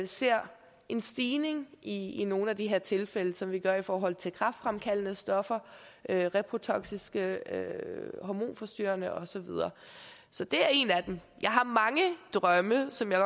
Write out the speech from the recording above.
ser en stigning i i nogle af de her tilfælde som vi gør i forhold til kræftfremkaldende stoffer reprotoksiske hormonforstyrrende og så videre så det er en af dem jeg har mange drømme som jeg